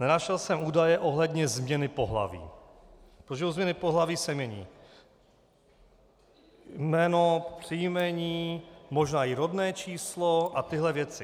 Nenašel jsem údaje ohledně změny pohlaví, protože u změny pohlaví se mění jméno, příjmení, možná i rodné číslo a tyto věci.